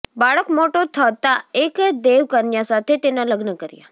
બાળક મોટો થતાં એક દેવકન્યા સાથે તેનાં લગ્ન કર્યા